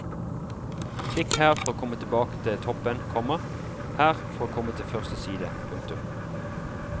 Klikk her for å komme tilbake til toppen, komma her for å komme til første side. punktum